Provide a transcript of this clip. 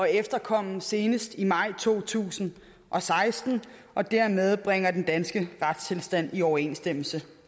efterkomme senest i maj to tusind og seksten og dermed bringer vi den danske retstilstand i overensstemmelse